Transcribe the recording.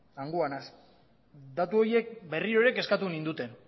hangoa naiz datu horiek berriro ere kezkatu ninduten